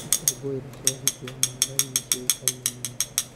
Ikũngũĩro cia ũhiki wa Maathai nĩ ciũĩkaine mũno.